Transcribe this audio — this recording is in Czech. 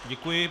Děkuji.